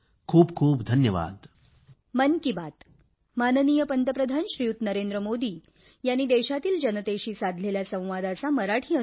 खूप खूप धन्यवाद